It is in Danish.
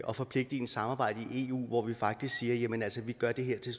og forpligtende samarbejde i eu hvor vi faktisk siger jamen altså vi gør det her til